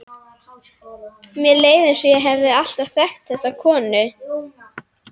Mér leið eins og ég hefði alltaf þekkt þessa konu.